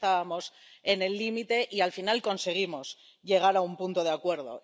Ya estábamos en el límite y, al final, conseguimos llegar a un punto de acuerdo.